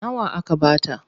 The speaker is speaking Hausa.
Nawa aka ba ta?